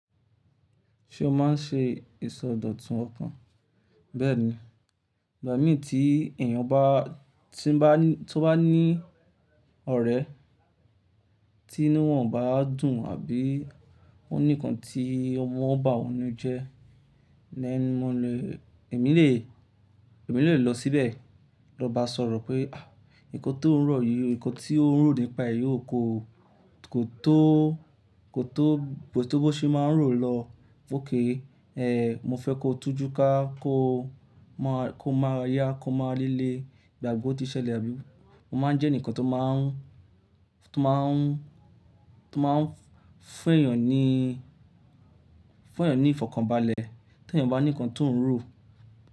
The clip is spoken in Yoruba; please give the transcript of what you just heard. Ṣé o máa ń ṣe ìsọdọ̀tun ọkàn? Bẹ́ẹ̀ ni, ìgbà mii tí èèyàn bá, tí n bá ní, tó bá ní ọ̀rẹ́ tí inu wọ́n o bá dùn àbí ó ní nkan tí o maa n bá wón ninú jẹ, ni mo lè, èmi lè, èmi lè lọ síbẹ̀, lọ bá sọ̀rọ̀ pé "àh! Nkan tó ń ro yìí, nkan tí ó ń rò nípa èyí ò kó, kò tó, kò tó, bi o tí ó bá ṣe máa ń rò lọ o. Okay, mo fẹ́ ko t'újú ká, kó maa, kó m'ara yá, kó m'ara lile, gbà pe o ti ṣẹlẹ̀ àbí mo máa ń jẹ́ ẹnìkan tó máa ń, tó máa ń, tó máa ń fún èèyàn ní, fún èèyàn ní ìfọ̀kànbalẹ̀ tí èèyàn bá ní nkan tó ń rò.